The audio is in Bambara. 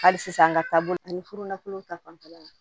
Hali sisan an ka taabolo la ani furulakolon ta fanfɛla la